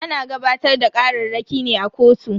Ana gabatar da kararraki ne a kotu.